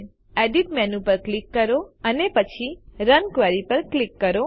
edit menu પર click કરો અને પછી રન ક્વેરી પર ક્લિક કરો